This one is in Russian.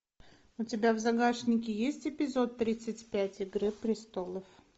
у тебя в загашнике есть эпизод тридцать пять игры престолов